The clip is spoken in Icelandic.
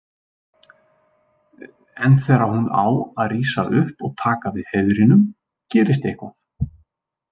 En þegar hún á að rísa upp og taka við heiðrinum gerist eitthvað.